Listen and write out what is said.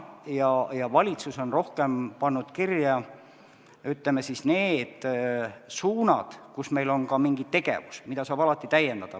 Valitsus on rohkem pannud kirja, ütleme, need suunad, kus meil on ka mingi tegevus, mida saab alati täiendada.